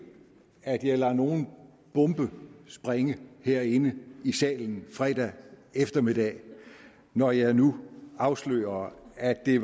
at jeg lader nogen bombe sprænge herinde i salen fredag eftermiddag når jeg nu afslører at det